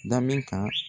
Da min kan